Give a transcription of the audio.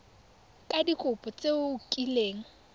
ka dikopo tse o kileng